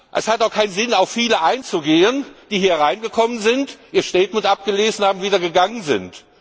Es hat auch keinen Sinn, auf viele einzugehen, die hier hereingekommen sind, ihr Statement abgelesen haben und wieder gegangen sind.